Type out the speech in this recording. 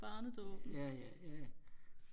ja ja ja